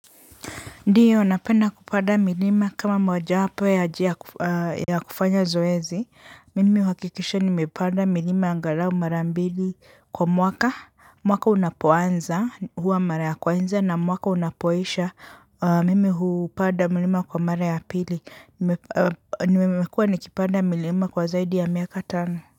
Ndiyo, napenda kupanda milima kama moja wapo ya kufanya zoezi, mimi huhakikisha nimepanda milima angalau mara mbili kwa mwaka, mwaka unapoanza huwa mara ya kwanza na mwaka unapoisha, mimi hupanda milima kwa mara ya pili, nimemekua nikipanda milima kwa zaidi ya miaka tano.